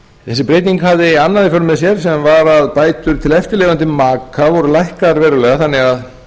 þessi breyting hafði annað í för með sér sem var að bætur til eftirlifandi maka voru lækkaðar verulega þannig að